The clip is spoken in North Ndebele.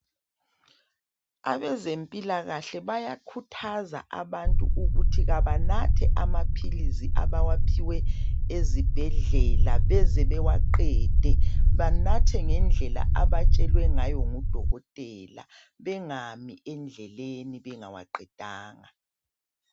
Abezempilakahle bayakhuthaza abantu ukuthi kabanathe amaphilizi abawaphiwe ezibhedlela beze bewaqede banathe ngendlela abatshelwe ngayo ngudokotela bengami endleleni bengawaqedanga.